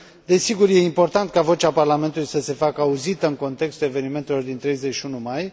Desigur, este important ca vocea Parlamentului să se facă auzită în contextul evenimentelor din 31 mai.